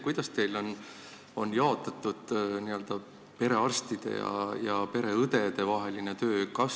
Kuidas teil on jaotatud perearstide ja pereõdede vaheline töö?